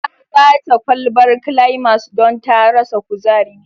Ya ba ta kwalbar climas don ta rasa kuzari